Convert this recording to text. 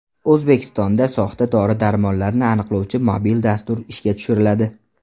O‘zbekistonda soxta dori-darmonlarni aniqlovchi mobil dastur ishga tushiriladi.